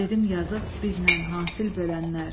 Dedim yazıq, bizlə hasil bölənlər.